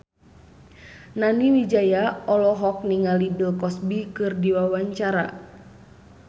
Nani Wijaya olohok ningali Bill Cosby keur diwawancara